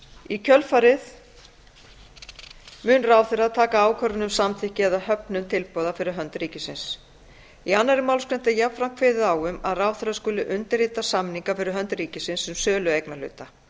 í kjölfarið mun ráðherra taka ákvörðun um samþykki eða höfnun tilboða fyrir hönd ríkisins í annarri málsgrein er jafnframt kveðið á um að ráðherra skuli undirrita samninga fyrir hönd ríkisins um sölu eignarhluta